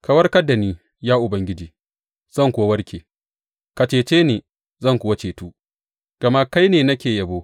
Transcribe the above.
Ka warkar da ni, ya Ubangiji, zan kuwa warke; ka cece ni zan kuwa cetu, gama kai ne nake yabo.